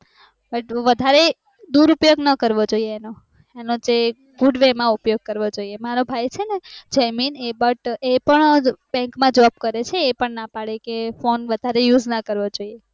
but વધારે દુર ઉપયોગ ના કરવો જોઈએ એનો એનો goodway માં ઉપયોગ કરવો જોઈએ મારો ભાઈ છેને જયમીન but એ પણ bank માં job કરે છે એ પણ ના પડે કે phone vadhare use ના કરવો જોઈંએ